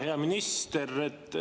Hea minister!